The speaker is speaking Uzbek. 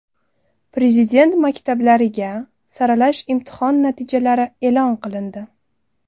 Prezident maktablariga saralash imtihon natijalari e’lon qilindi.